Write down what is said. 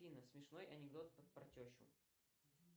афина смешной анекдот про тещу